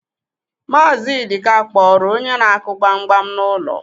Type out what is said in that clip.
Maazị Ịdịka kpọrọ onye na-akụ gbam gbam n'ụlọ.